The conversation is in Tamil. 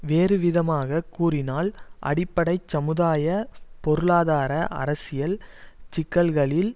வேறு விதமாக கூறினால் அடிப்படை சமுதாய பொருளாதார அரசியல் சிக்கல்களில்